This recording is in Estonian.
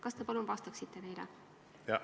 Kas te palun vastaksite neile?